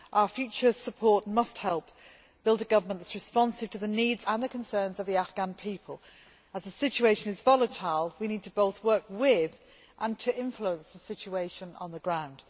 Our future support must help build a government that is responsive to the needs and the concerns of the Afghan people. As the situation is volatile, we need to both work with, and to influence, the situation on the ground.